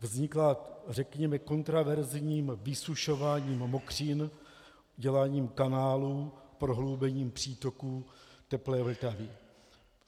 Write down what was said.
Vznikla, řekněme, kontroverzním vysušováním mokřin, děláním kanálů, prohloubením přítoků teplé Vltavy.